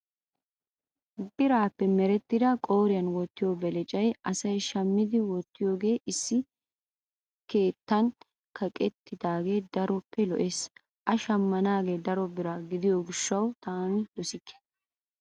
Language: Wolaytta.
biraappe merettida qooriyaan wottiyoo belecayi asayi shammidi wottiyoogee issi keettan kaqettidaage daroppe lo''ees. A shammanaage daro bira gidiyoo gishshawu taani dosikke.